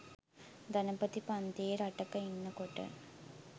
ධනපති පන්තියේ රටක ඉන්නකොට